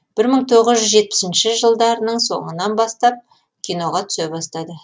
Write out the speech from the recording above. бір мың тоғыз жүз жетпісінші жылдарының соңынан бастап киноға түсе бастады